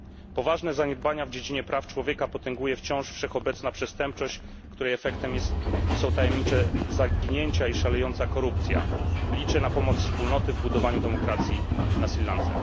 Poważne zaniedbania w dziedzinie praw człowieka potęguje wciąż wszechobecna przestępczość, której efektem są tajemnicze zaginięcia i szalejąca korupcja. Liczę na pomoc Wspólnoty w budowaniu demokracji w Sri Lance.